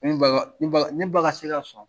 N ne ba ka se ka sɔn